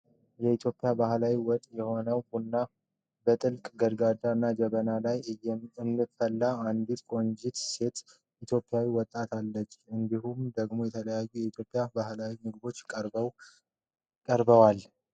የኢትዮጵያ ባህላዊ መጠጥ የሆነውን ቡና በጥልቅ ገንዳ እና ጀበና ላይ እምታፈላ አንዲት ቆንጆ ኢትዮጵያዊት ወጣት አለች ። እንዲሁም ደግሞ የተለያዩ የኢትዮጵያ ባህላዊ ምግቦች ቀርበዋል።